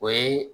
O ye